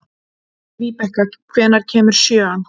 Víbekka, hvenær kemur sjöan?